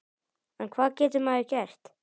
En hvað getur maður gert?